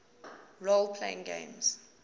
role playing games